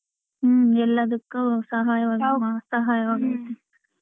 ಹ್ಮ್ ಎಲ್ಲದಕ್ಕೂ ಸಹಾಯ .